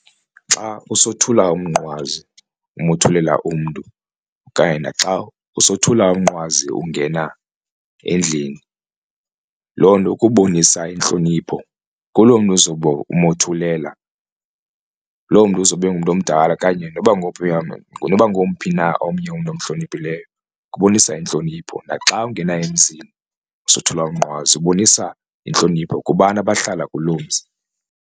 Xa usothula umnqwazi umothulela umntu kanye naxa usothula umnqwazi ungena endlini loo nto kubonisa intlonipho kulo mntu uzobe umothulela. Loo mntu uzobe ungumntu omdala okanye noba ngomphi noba ngomphi na omnye umntu omhloniphileyo kubonisa intlonipho, naxa ungena emzini usothula umnqwazi ubonisa intlonipho kubantu abahlala kuloo mzi.